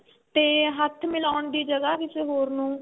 ਤੇ ਹੱਥ ਮਿਲਾਉਣ ਦੀ ਜਗ੍ਹਾ ਕਿਸੇ ਹੋਰ ਨੂੰ